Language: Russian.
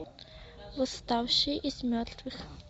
восставший из мертвых